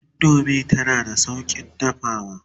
indomie tana da saukin dafawa